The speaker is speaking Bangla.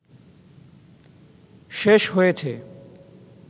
শেষ হয়েছে